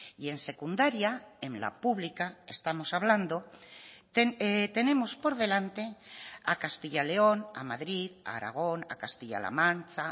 y en secundaria en la pública estamos hablando tenemos por delante a castilla león a madrid a aragón a castilla la mancha